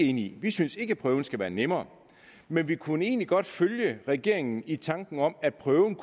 enige i vi synes ikke at prøven skal være nemmere men vi kunne egentlig godt følge regeringen i tanken om at prøven